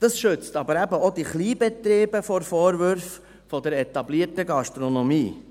Das schützt aber eben auch die Kleinbetriebe vor Vorwürfen der etablierten Gastronomie.